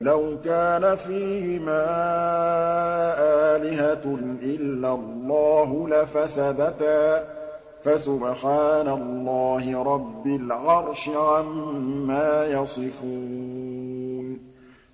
لَوْ كَانَ فِيهِمَا آلِهَةٌ إِلَّا اللَّهُ لَفَسَدَتَا ۚ فَسُبْحَانَ اللَّهِ رَبِّ الْعَرْشِ عَمَّا يَصِفُونَ